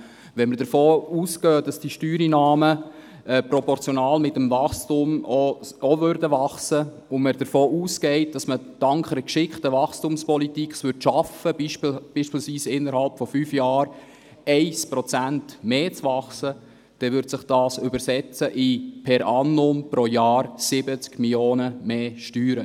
Wenn wir davon ausgehen, dass diese Steuereinnahmen proportional zum Wachstum wachsen, und wenn wir weiter annehmen, dass wir es dank einer geschickten Wachstumspolitik schaffen, beispielsweise innerhalb von fünf Jahren um 1 Prozent stärker zu wachsen, würde dies pro Jahr zusätzliche Steuereinnahmen von 70 Mio. Franken bedeuten.